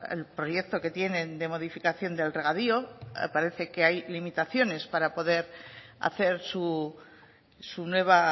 el proyecto que tienen de modificación del regadío parece que hay limitaciones para poder hacer su nueva